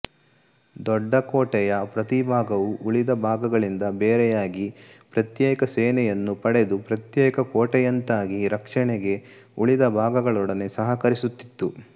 ದೊಡ್ಡಕೋಟೆಯ ಪ್ರತಿಭಾಗವೂ ಉಳಿದ ಭಾಗಗಳಿಂದ ಬೇರೆಯಾಗಿ ಪ್ರತ್ಯೇಕ ಸೇನೆಯನ್ನು ಪಡೆದು ಪ್ರತ್ಯೇಕ ಕೋಟೆಯಂತಾಗಿ ರಕ್ಷಣೆಗೆ ಉಳಿದ ಭಾಗಗಳೊಡನೆ ಸಹಕರಿಸುತ್ತಿತ್ತು